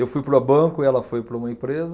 Eu fui para o banco, ela foi para uma empresa.